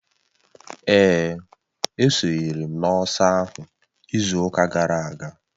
Èè, esonyere m n'ọsọ ahụ izu ụka gara aga